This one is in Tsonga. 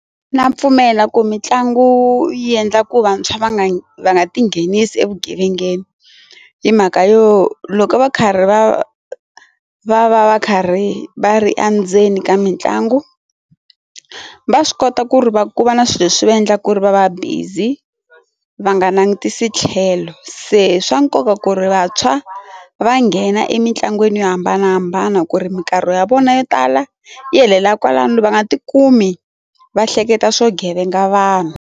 Na pfumela ku mitlangu yi endla ku vantshwa va nga va nga ti nghenisi evugevengeni hi mhaka yo loko va karhi va va va va karhi va ri endzeni ka mitlangu va swi kota ku ri va ku va na swilo leswi va endla ku ri va va busy va nga langutisi tlhelo se swa nkoka ku ri vantshwa va nghena emitlangwini yo hambanahambana ku ri minkarhi ya vona yo tala yi helela kwalano va nga ti kumi va hleketa swo vugevenga vanhu.